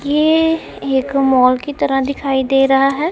ये एक मॉल की तरह दिखाई दे रहा है।